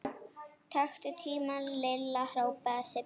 Taktu tímann Lilla! hrópaði Sibbi.